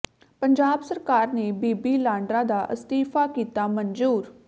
ਪੰਜਾਬ ਸਰਕਾਰ ਨੇ ਬੀਬੀ ਲਾਂਡਰਾ ਦਾ ਅਸਤੀਫਾ ਕੀਤਾ ਮਨਜੂਰ